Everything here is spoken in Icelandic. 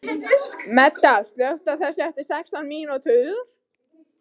Meda, slökktu á þessu eftir sextán mínútur.